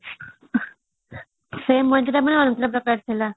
ସେଇ ମଜା ଟା ପୁଣି ଅଲଗା ପ୍ରକାର ଥିଲା